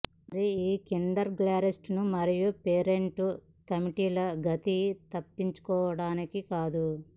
మరియు ఈ కిండర్ గార్టెన్లు మరియు పేరెంట్ కమిటీలు గతి తప్పించుకోవడానికి కాదు